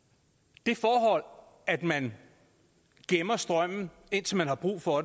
det forhold at man gemmer strømmen indtil man har brug for